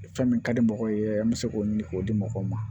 Fɛn min ka di mɔgɔw ye an bɛ se k'o ɲini k'o di mɔgɔw ma